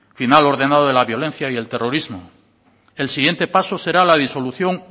final ordenado de la violencia y el terrorismo el siguiente paso será la disolución